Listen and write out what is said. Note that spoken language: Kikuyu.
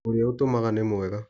Ũrĩa ũtũmaga nĩ mwega.